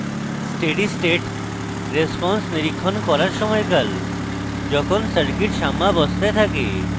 steady state response নিরীক্ষণ করার সময়কাল যখন circuit সাম্যাবস্থায় থাকে